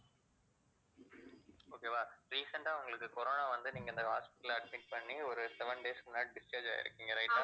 okay வா recent ஆ உங்களுக்கு corona வந்து நீங்க இந்த hospital அ admit பண்ணி ஒரு seven days க்கு முன்னாடி discharge ஆயிருக்கீங்க right ஆ